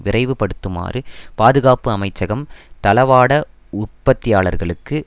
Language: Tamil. விரைவு படுத்துமாறு பாதுகாப்பு அமைச்சகம் தளவாட உற்பத்தியாளர்களுக்கு